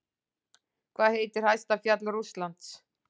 Hvað heitir hæsta fjall Rússlands?